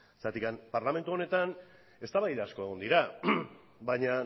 zergatik parlamentu honetan eztabaida asko egon dira baina